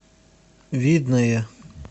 видное